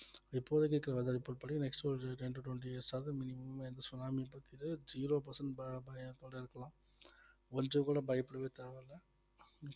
இப்போதிக்கு weather report படி next ஒரு ten to twenty years ஆது minimum எந்த சுனாமி zero percent ப~ இருக்கலாம் கொஞ்சம் கூட பயப்படவே தேவையில்ல